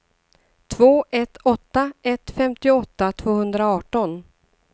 två ett åtta ett femtioåtta tvåhundraarton